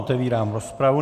Otevírám rozpravu.